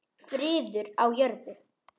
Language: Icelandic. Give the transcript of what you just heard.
Friður á jörðu.